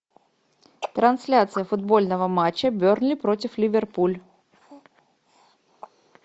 трансляция футбольного матча бернли против ливерпуль